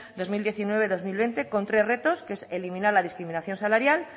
dos mil diecinueve dos mil veinte con tres retos que es eliminar la discriminación salarial